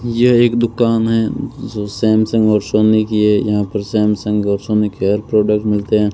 यह एक दुकान है सैमसंग और सोनी की है यहां पर सैमसंग और सोनी के हर प्रोडक्ट मिलते हैं।